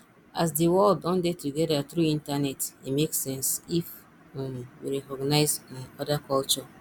as di world don dey together through internet e make sense if um we recognise um oda culture